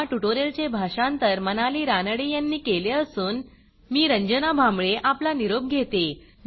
ह्या ट्युटोरियलचे भाषांतर मनाली रानडे यांनी केले असून मी रंजना भांबळे आपला निरोप घेते